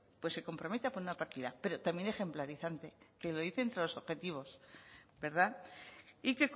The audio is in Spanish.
pues se compromete a poner una partida pero también ejemplarizante que lo dice entre los objetivos verdad y